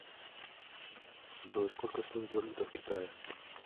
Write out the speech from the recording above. джой сколько стоит валюта в китае